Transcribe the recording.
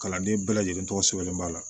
Kalanden bɛɛ lajɛlen tɔgɔ sɛbɛnnen b'a la